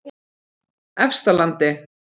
Efstalandi